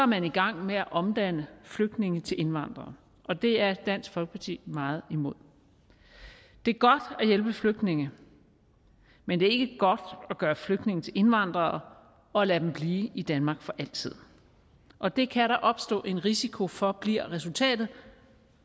man i gang med at omdanne flygtninge til indvandrere og det er dansk folkeparti meget imod det er godt at hjælpe flygtninge men det er ikke godt at gøre flygtninge til indvandrere og lade dem blive i danmark for altid og det kan der opstå en risiko for bliver resultatet